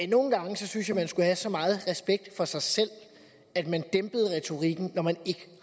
nogle gange synes jeg at man skulle have så meget respekt for sig selv at man dæmpede retorikken når man ikke